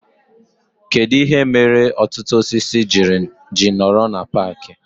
Kedụ ihe mere ọtụtụ osisi ji nọrọ na paaki